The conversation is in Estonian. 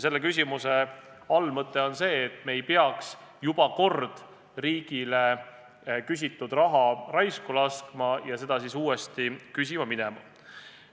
Selle küsimuse allmõte on see, et me ei peaks riigile juba küsitud raha raisku laskma ja seda siis uuesti küsima minema.